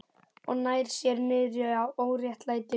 Og nær sér niðri á óréttlætinu.